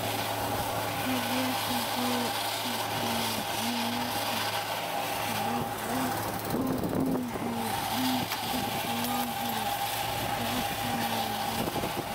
Tabias wuxuu sharxayaa in yoolka hadda uu yahay in dib loo helo tababar buuxa.